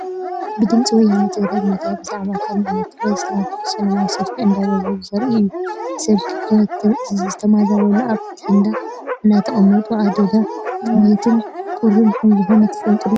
ብድምፂ ወያኔ ትግራይ ሚድያ ብዛዕባ ካብ ምዕራብ ትግራይ ዝተመዛበሉ ሰለማዊ ሰልፊ እንዳገበሩ ዘርኢ እዩ። ብሰንኪ ኩናት ዝተመዛበሉ ኣብ ቴንዳ እንዳተቀመጡ ኣደዳ ጥምየትን ቁርን ከምዝኮኑ ትፈልጡ ዶ?